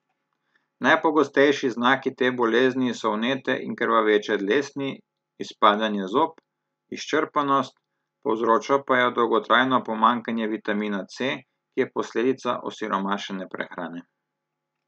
Najpogostejši znaki te bolezni so vnete in krvaveče dlesni, izpadanje zob, izčrpanost, povzroča pa jo dolgotrajno pomanjkanje vitamina C, ki je posledica osiromašene prehrane.